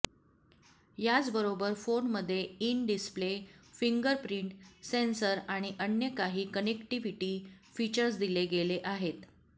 याचबरोबर फोनमध्ये in display fingerprint sensor आणि अन्य काही कनेक्टिव्हीटी फीचर्स दिले गेले आहेत